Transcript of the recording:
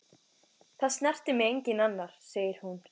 Það snertir mig enginn annar, segir hún.